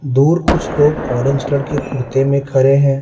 दूर कुछ लोग ऑरेंज कलर के कुर्ते में खड़े हैं।